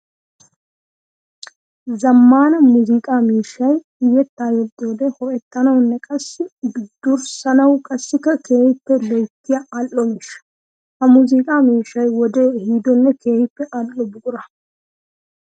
Zamaana muuziqqa miishshay yetta yexxiyodde ho'ettanawunne qassi durssanawu qassikka keehippe loyttiya ali'o miishsha. Ha muuziqa miishshay wode ehiidonne keehippe ali'o buqura.